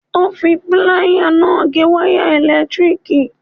Ó fi pláyà náà gé wáyà ẹ̀lẹ̀tíríkì.